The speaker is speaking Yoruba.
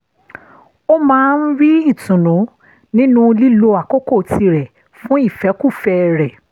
ó máa ń rí ìtùnú nínú lílo àkókò tirẹ̀ fún ìfẹ́kúfẹ̀ẹ́ rẹ̀